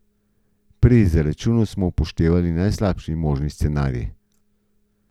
Pri izračunu smo upoštevali najslabši možni scenarij.